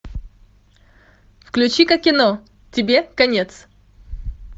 включи ка кино тебе конец